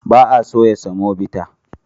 Ba a soya semobita.